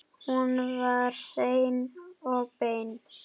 Hún var hrein og bein.